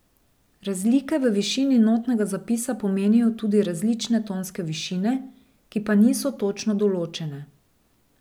Razlike v višini notnega zapisa pomenijo tudi različne tonske višine, ki pa niso točno določene.